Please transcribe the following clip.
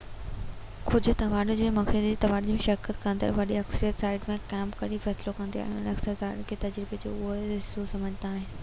ڪجهه تهوارن لاءِ موسيقي جي تهوارن ۾ شرڪت ڪندڙن جي وڏي اڪثريت سائيٽ تي ڪيمپ ڪرڻ جو فيصلو ڪندي آهي ۽ اڪثر حاضرين ان کي تجربي جو اهم حصو سمجهندا آهن